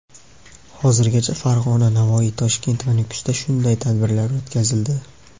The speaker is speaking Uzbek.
Hozirgacha Farg‘ona, Navoiy, Toshkent va Nukusda shunday tadbirlar o‘tkazildi.